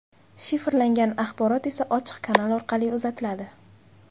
Shifrlangan axborot esa ochiq kanal orqali uzatiladi.